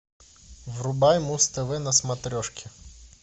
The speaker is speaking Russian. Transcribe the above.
врубай муз тв на смотрешке